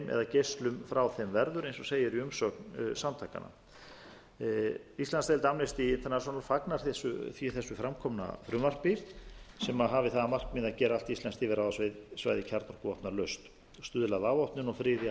geislum frá þeim verður eins og segir í umsögn samtakanna íslandsdeild amnesty international fagnar því þessu framkomnu frumvarpi sem hafi það að markmiði að gera allt íslenskt yfirráðasvæði kjarnorkuvopnalaust stuðla að afvopnun og friði af